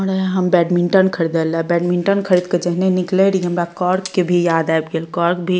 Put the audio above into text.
और हम बैडमिंटन ख़रीदे ले बैडमिंटन खरीद के जहने निकले रही हमरा कॉर्क के भी याद आब गेल कॉर्क भी --